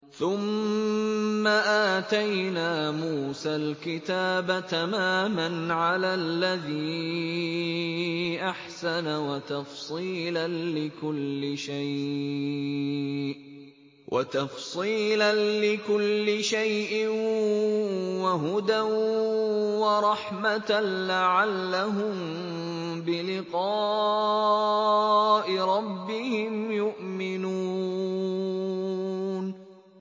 ثُمَّ آتَيْنَا مُوسَى الْكِتَابَ تَمَامًا عَلَى الَّذِي أَحْسَنَ وَتَفْصِيلًا لِّكُلِّ شَيْءٍ وَهُدًى وَرَحْمَةً لَّعَلَّهُم بِلِقَاءِ رَبِّهِمْ يُؤْمِنُونَ